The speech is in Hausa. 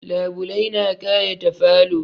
Labulai na kayata falo.